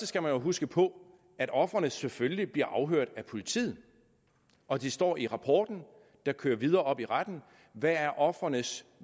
skal jo huske på at ofrene selvfølgelig bliver afhørt af politiet og det står i rapporten der kører videre op i retten hvad ofrenes